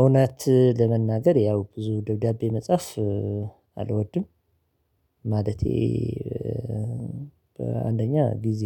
እውነት ለመናገር ያው ብዙ ደብዳቤ መጽሐፍ አልወድም። ማለቴ በአንደኛ ጊዜ